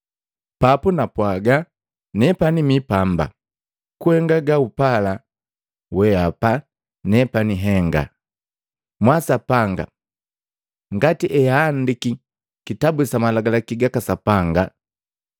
Papu napwaaga, ‘Nepani mi pamba, kuhenga gaupala wehapa nepani nhenga, mwaa, Sapanga, ngati eahandaki kitabu sa malagalaki gaka Sapanga.’ ”